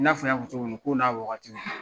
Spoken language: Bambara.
I n'a fɔ n y'a fɔ cogo min na kow n'a wagatiw do.